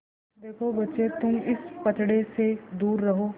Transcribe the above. देखो बच्चे तुम इस पचड़े से दूर रहो